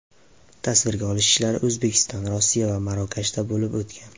Tasvirga olish ishlari O‘zbekiston, Rossiya va Marokashda bo‘lib o‘tgan.